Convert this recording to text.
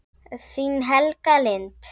Þín, Helga Lind.